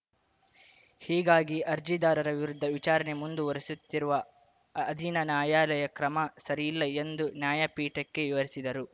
ಹೀಗಾಗಿ ಅರ್ಜಿದಾರರ ವಿರುದ್ಧ ವಿಚಾರಣೆ ಮುಂದುವರಿಸುತ್ತಿರುವ ಅಧೀನ ನ್ಯಾಯಾಲಯ ಕ್ರಮ ಸರಿಯಲ್ಲ ಎಂದು ನ್ಯಾಯಪೀಠಕ್ಕೆ ವಿವರಿಸಿದರು